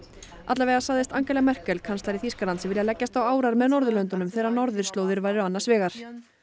alla vega sagðist Angela Merkel kanslari Þýskalands vilja leggjast á árar með Norðurlöndunum þegar norðurslóðir væru annars vegar